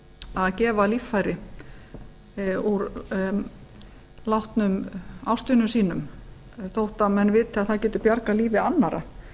að gefa líffæri úr látnum ástvinum sínum þótt menn viti að það getur bjargað lífi annarra